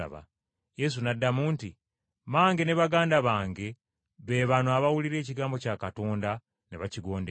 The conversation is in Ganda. Yesu n’addamu nti, “Mmange ne baganda bange be bano abawulira ekigambo kya Katonda ne bakigondera.”